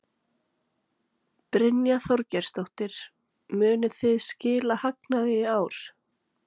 Brynja Þorgeirsdóttir: Munið þið skila hagnaði í ár?